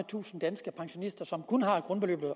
tusinde danske pensionister som kun har grundbeløbet